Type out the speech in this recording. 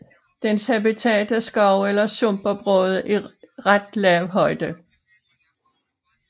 Dens habitat er skove eller sumpområder i ret lav højde